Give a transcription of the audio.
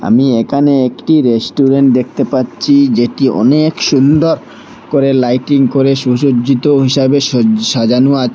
আমি এখানে একটি রেস্টুরেন্ট দেখতে পাচ্ছি যেটি অনেক সুন্দর করে লাইটিং করে সুসজ্জিত হিসেবে সজ সাজানো আছে।